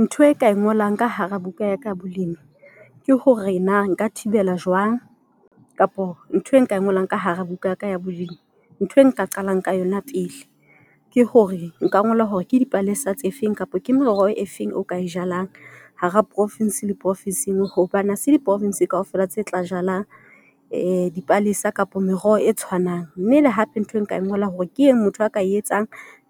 Ntho e ka e ngolang ka hara buka yaka ya bolemi ke hore na nka thibela jwang kapa ntho e nka e ngolang ka hara buka yaka ya bolemi ntho e nka qalang ka yona pele. Ke hore nka ngola hore ke dipalesa tse feng kapa ke meroho e feng. O ka e jalang hara province le profinsi e nngwe, hobane hase di-province kaofela tse tla jalang dipalesa kapa meroho e tshwanang. Mme hape ntho e nka e ngolang hore ke eng motho a ka etsang